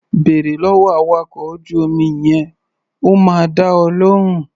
Bèrè lọ́wọ́ awakọ̀ ojú-omi yẹn, ó máa dá ọ lóhùn.